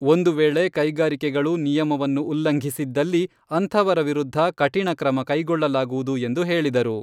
ಒಂದು ವೇಳೆ ಕೈಗಾರಿಕೆಗಳು ನಿಯಮವನ್ನು ಉಲ್ಲಂಘಿಸಿದ್ದಲ್ಲಿ ಅಂಥವರ ವಿರುದ್ಧ ಕಠಿಣ ಕ್ರಮ ಕೈಗೊಳ್ಳಲಾಗುವುದು ಎಂದು ಹೇಳಿದರು.